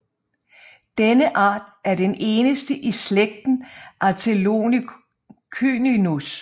Denne art er den eneste i slægten Atelocynus